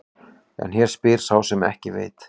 En hér spyr sá sem ekki veit.